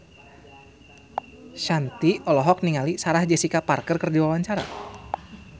Shanti olohok ningali Sarah Jessica Parker keur diwawancara